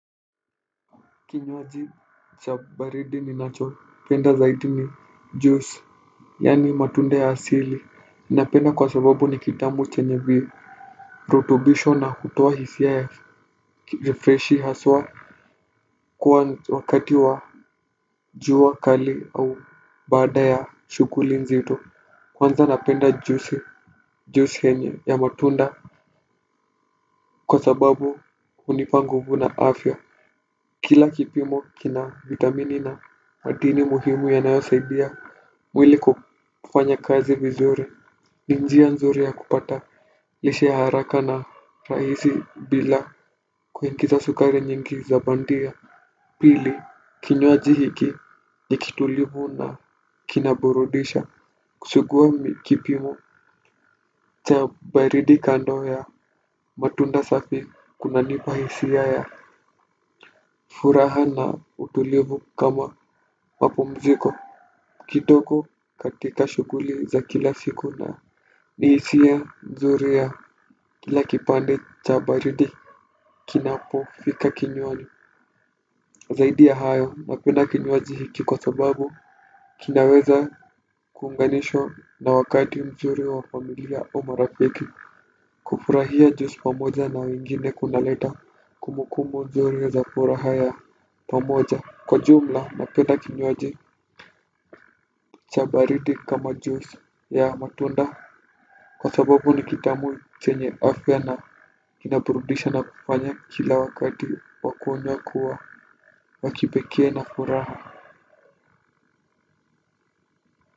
Kinnwaji cha baridi ninachopenda zaidi ni juice yani matunda ya asili inapenda kwa sababu ni kitamu chenye virutubisho na kutoa hisia ya ya freshi haswa kuwa wakati wa jua kali au baada ya shuguli nzito kwanza napenda juice juice henye ya matunda kwa sababu unipa nguvu na afya kila kipimo kina vitamini na madini muhimu yanayosaidia mwili kufanya kazi vizuri ni njia nzuri ya kupata lishe haraka na raisi bila kuingiza sukari nyingi za bandia pili kinywaji hiki ni kitulivu na kinaburudisha kusugua mikipimo cha baridi kando ya matunda safi kunanipa hisia ya furaha na utulivu kama mapumziko kitoko katika shuguli za kila siku na ni isia mzuri ya kila kipande cha baridi kinapofika kinywani. Zaidi ya hayo napenda kinywaji kiko sababu kinaweza kuunganishwa na wakati mzuri wa familia au marafiki. Kufurahia juice pamoja na wengine kunaleta kumbukumbu mzuri ya za furaha ya pamoja. Kwa jumla napenda kinywaji cha baridi kama juice ya matunda. Kwa sababu ni kitamu chenye afya na kinaburudisha na kufanya kila wakati wakunywa wa kua wa kipekee na furaha.